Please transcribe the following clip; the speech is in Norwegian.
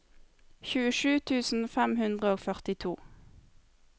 tjuesju tusen fem hundre og førtito